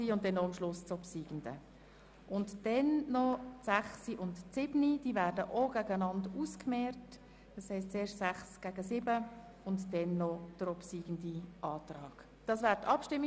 Auch die Ziffern 6 und 7 werden einander gegenübergestellt, und dann wird noch über den obsiegenden Antrag abgestimmt.